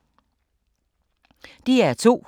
DR2